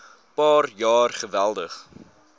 paar jaar geweldig